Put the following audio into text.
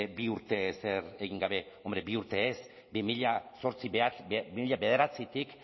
bi urtez ezer egin gabe hombre bi urte ez bi mila bederatzitik